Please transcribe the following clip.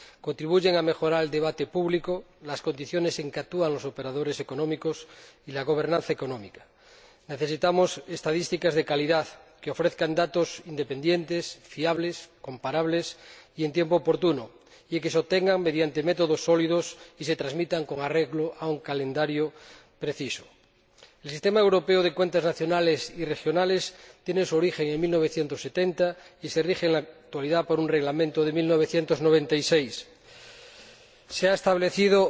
Contribuyen a mejorar el debate público, las condiciones en que actúan los operadores económicos y la gobernanza económica. Necesitamos estadísticas de calidad, que ofrezcan datos independientes, fiables, comparables y en tiempo oportuno, y que se obtengan mediante métodos sólidos y se transmitan con arreglo a un calendario preciso. El Sistema Europeo de Cuentas Nacionales y Regionales tiene su origen en 1970 y se rige en la actualidad por un Reglamento de 1996. Se ha establecido